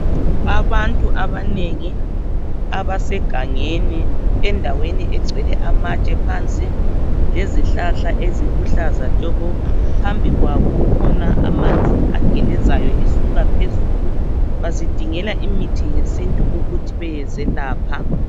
Abantu abanengi abasegangeni endaweni egcwele amatshe phansi lezihlahla eziluhlaza tshoko phambili kwabo kukhona amanzi agelezeyo esuka phezulu bazidingela imithi yesintu ukuthi beyezelapha.